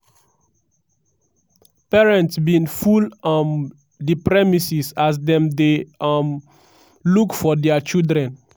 parents bin full um di premises as dem dey um look for dia children.